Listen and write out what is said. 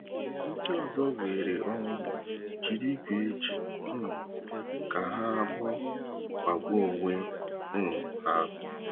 Ndị ọzọ weere onwu, jiri igwe eji um ke ha agbu kpagbuo onwe um ha.